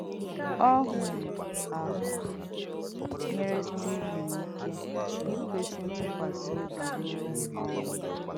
Ọ̀hùrù́ áhụ̀ nyèrè Stívìn ìké ìkwèsì ǹtùkwàsì óbì rùọ́ um ọ́nwú.